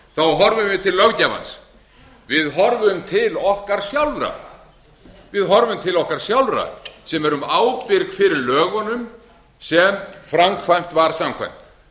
axla ábyrgð í öðru lagi horfum við til löggjafans við horfum til okkar sjálfra sem erum ábyrg fyrir lögunum sem framkvæmt var samkvæmt